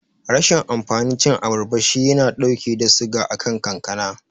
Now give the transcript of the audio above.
Rashin amfanin cin abarba shi yana dauke da suga akan kankana.